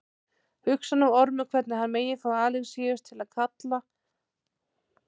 Hugsar nú Ormur hvernig hann megi fá Alexíus til að fallast á tillögur lögmanns.